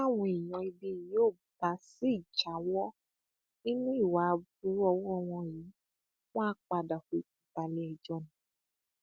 táwọn èèyàn ibí yìí ò bá sì jáwọ nínú ìwà aburú ọwọ wọn yìí wọn àá padà fojú balẹẹjọ ni